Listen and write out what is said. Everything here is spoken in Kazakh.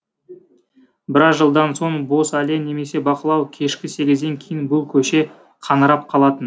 біраз жылдан соң бос әлем немесе бақылау кешкі сегізден кейін бұл көше қаңырап қалатын